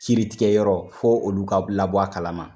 kiritigɛ yɔrɔ fɔ olu ka labɔ a kalama